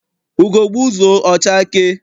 Ugo gbuzuo, ọ chakee.